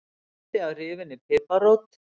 Slatti af rifinni piparrót